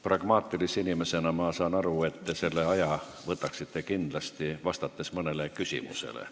Pragmaatilise inimesena ma saan aru, et te puudujääva aja võtaksite kindlasti, vastates mõnele küsimusele.